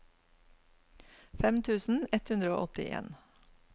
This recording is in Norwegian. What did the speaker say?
fem tusen ett hundre og åttien